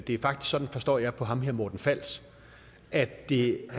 det er faktisk sådan forstår jeg på ham her morten fals at det